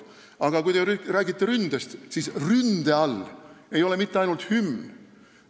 Aga kui ründest rääkida, siis ründe all ei ole mitte ainult hümn.